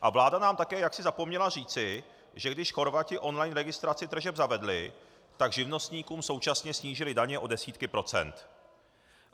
A vláda nám také jaksi zapomněla říci, že když Chorvati on-line registraci tržeb zavedli, tak živnostníkům současně snížili daně o desítky procent.